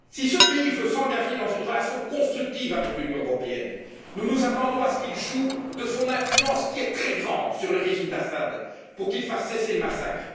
Si ce pays veut s'engager dans une relation constructive avec l'Union européenne, nous nous attendons à ce qu'il joue de son influence, qui est très grande, sur le régime d'Assad pour qu'il fasse cesser le massacre.